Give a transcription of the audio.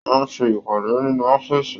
Wọn n ṣe ìpàdé nínú ọ̀fiísí.